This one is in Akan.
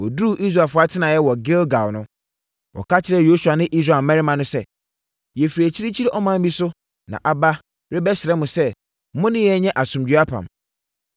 Wɔduruu Israelfoɔ atenaeɛ wɔ Gilgal no, wɔka kyerɛɛ Yosua ne Israel mmarimma no sɛ, “Yɛfiri akyirikyiri ɔman bi so na aba rebɛsrɛ mo sɛ mo ne yɛn nyɛ asomdwoeɛ apam.”